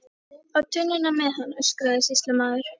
Á tunnuna með hann, öskraði sýslumaður.